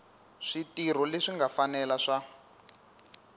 switirho leswi nga fanela swa